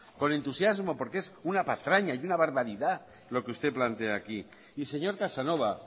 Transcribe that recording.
con entusiasmo porque es una patraña y una barbaridad lo que usted plantea aquí y señor casanova